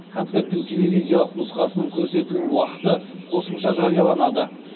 концерттің телевизиялық нұсқасының көрсетілім уақыты қосымша жарияланады